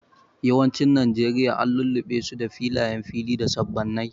Yawancin Najeriya an lullube su da filayen fili da sabannai.